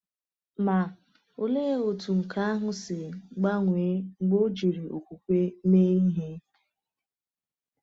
Ma, olee otú nke ahụ si gbanwee mgbe ọ jiri okwukwe mee ihe!